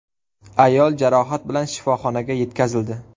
Ayol jarohat bilan shifoxonaga yetkazildi.